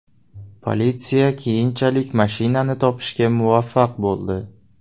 Politsiya keyinchalik mashinani topishga muvaffaq bo‘ldi.